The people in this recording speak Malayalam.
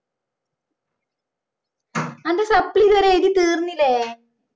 അന്റെ supply ഇതുവരെ എഴുതി തീർന്നില്ലേ